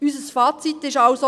Unser Fazit ist also: